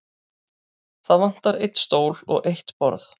Það vantar einn stól og eitt borð.